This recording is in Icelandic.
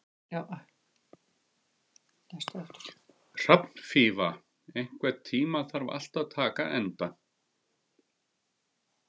Hrafnfífa, einhvern tímann þarf allt að taka enda.